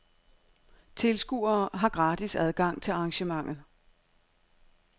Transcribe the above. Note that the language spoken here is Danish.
Tilskuere har gratis adgang til arrangementet.